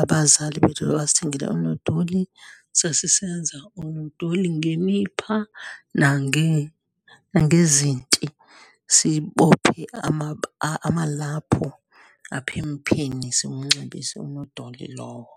abazali bethu basithengele oonodoli, sasisenza oonodoli ngemipha nangezinti, sibophe amalaphu apha empheni, siwunxibise unodoli lowo.